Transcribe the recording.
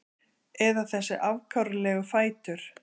Eða þessa afkáralegu fætur?